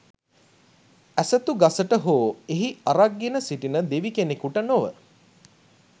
ඇසතු ගසට හෝ එහි අරක්ගෙන සිටින දෙවිකෙනෙකුට නොව